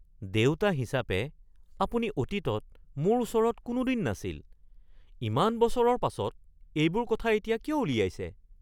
দেউতা হিচাপে আপুনি অতীতত মোৰ ওচৰত কোনোদিন নাছিল। ইমান বছৰৰ পাছত এইবোৰ কথা এতিয়া কিয় উলিয়াইছে?(পুত্ৰ)